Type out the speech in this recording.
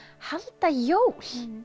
halda jól